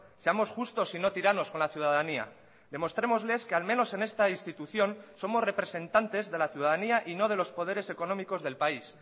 seamos justos y no tiranos con la ciudadanía demostrémosles que al menos en esta institución somos representantes de la ciudadanía y no de los poderes económicos del país